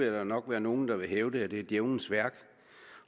jo nok være nogen der vil hævde at det er djævelens værk